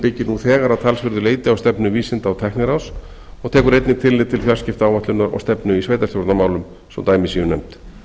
byggir nú þegar að talsverðu leyti á stefnu vísinda og tækniráðs og tekur einnig tillit til fjarskiptaáætlunar og stefnu í sveitarstjórnarmálum svo dæmi séu nefnd